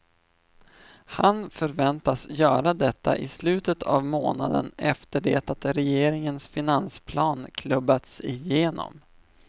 Han förväntas göra detta i slutet av månaden efter det att regeringens finansplan klubbats igenom.